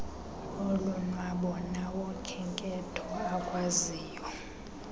olonwabo nawokhenketho akwaziyo